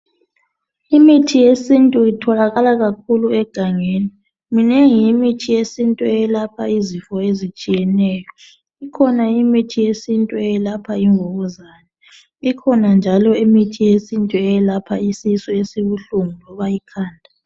Imithi yesintu itholakala kakhuku egangeni minengi imithi yesintu eyelapha izifo ezitshiyeneyo ikhona imithi yesintu eyelapha imvukuzane ikhona njalo imithi yesintu eyelapha isisu esibuhlungu loba ikhanda